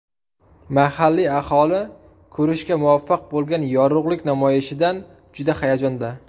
Mahalliy aholi ko‘rishga muvaffaq bo‘lgan yorug‘lik namoyishidan juda hayajonda.